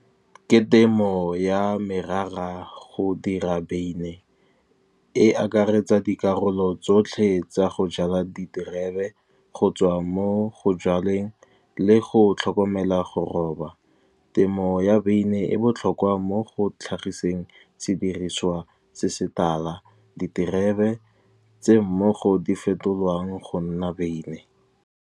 Ke temo ya merara go dira beine e akaretsa dikarolo tsotlhe, tsa go jala diterebe go tswa mo go jaleng le go tlhokomela go roba. Temo ya beine e botlhokwa mo go tlhagiseng sediriswa se se tala, diterebe tse mmogo di fetolwang go nna beine.